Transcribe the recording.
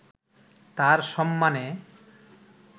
তাঁর সম্মানে